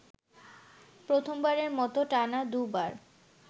প্রথমবারের মতো টানা দুবার